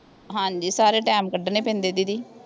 ਹਾਂਜੀ ਸਾਰੇ ਟਾਈਮ ਕੱਢਣੇ ਪੈਂਦੇ ਦੀਦੀ